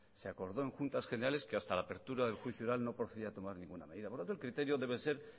se acordó en juntas generales que hasta la apertura del juicio oral no procedía tomar ninguna medida por lo tanto el criterio debe ser